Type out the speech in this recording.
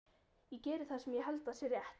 Ég geri það sem ég held að sé rétt.